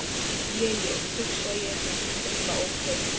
Je je, hugsa ég en umla ókei.